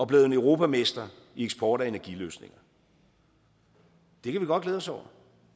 blevet europamestre i eksport af energiløsninger det kan vi godt glæde os over